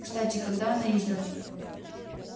кстати когда она издана